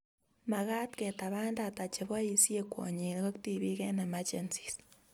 Makaat ketaban data cheboisie kwonyik ak tibiik eng emergencies